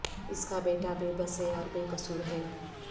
اس کا بیٹا بے بس ہے اور بے قصور ہے